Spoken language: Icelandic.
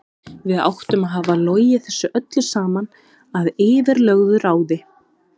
Við áttum að hafa logið þessu öllu saman að yfirlögðu ráði.